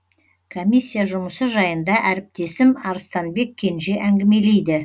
комиссия жұмысы жайында әріптесім арыстанбек кенже әңгімелейді